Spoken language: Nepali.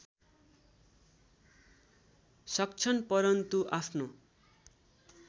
सक्छन् परन्तु आफ्नो